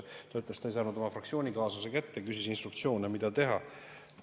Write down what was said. Ta ütles, et ta ei saanud oma fraktsioonikaaslasi kätte, ja küsis instruktsioone, mida teha.